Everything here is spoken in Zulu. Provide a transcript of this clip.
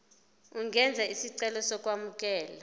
ungenza isicelo sokwamukelwa